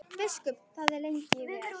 Biskup þagði lengi vel.